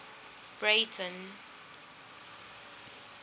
breyten